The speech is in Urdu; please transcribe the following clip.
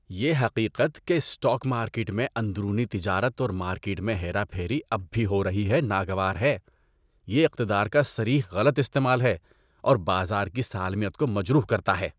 یہ حقیقت کہ اسٹاک مارکیٹ میں اندرونی تجارت اور مارکیٹ میں ہیرا پھیری اب بھی ہو رہی ہے ناگوار ہے۔ یہ اقتدار کا صریح غلط استعمال ہے اور بازار کی سالمیت کو مجروح کرتا ہے۔